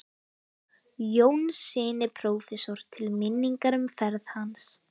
Jónssyni prófessor til minningar um ferð hans.